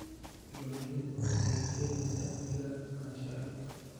Diiwaangelintu waxay keenaysaa amniga lahaanshaha dhulka.